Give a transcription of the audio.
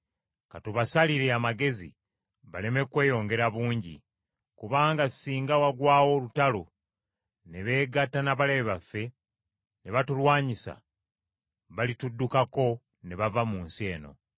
Ka tubasalire amagezi baleme kweyongera bungi. Kubanga singa wagwawo olutalo ne beegatta n’abalabe baffe, ne batulwanyisa, balituddukako ne bava mu nsi eno.”